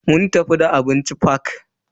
Mun tafi da abinci fak.